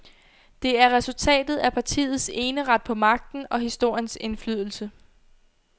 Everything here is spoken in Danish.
Det er resultatet af partiets eneret på magten og historiens indflydelse.